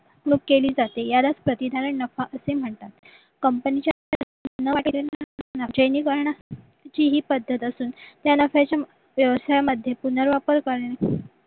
केली जाते यालाच प्रति धारण नफा असे म्हणतात ती ही पद्धत असून नफ्याचे व्यवसायामध्ये पुनर वापार करणे